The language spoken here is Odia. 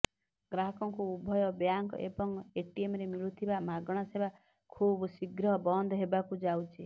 ଗ୍ରାହକଙ୍କୁ ଉଭୟ ବ୍ୟାଙ୍କ ଏବଂ ଏଟିଏମରେ ମିଳୁଥିବା ମାଗଣା ସେବା ଖୁବ୍ଶୀଘ୍ର ବନ୍ଦ ହେବାକୁ ଯାଉଛି